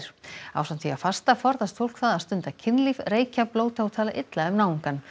ásamt því að fasta forðast fólk það að stunda kynlíf reykja blóta og tala illa um náungann